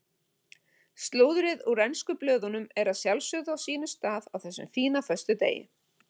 Slúðrið úr ensku blöðunum er að sjálfsögðu á sínum stað á þessum fína föstudegi.